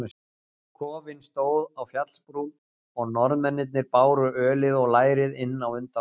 Kofinn stóð á fjallsbrún og Norðmennirnir báru ölið og lærið inn á undan okkur.